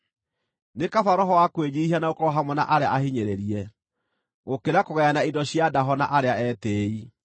Nĩ kaba roho wa kwĩnyiihia na gũkorwo hamwe na arĩa ahinyĩrĩrie, gũkĩra kũgayana indo cia ndaho na arĩa etĩĩi.